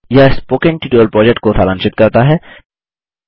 यह spoken tutorial project को सारांशित करता है